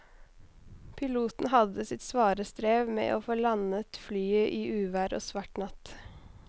Piloten hadde sitt svare strev med å få landet flyet i uvær og svart natt.